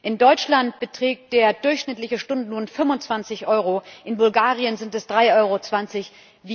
In Deutschland beträgt der durchschnittliche Stundenlohn 25 Euro, in Bulgarien sind es 3,20 Euro.